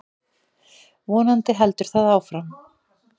Vonandi heldur það áfram.